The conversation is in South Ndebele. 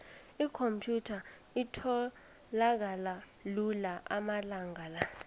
ikhomphyutha itholakala lula amalanga la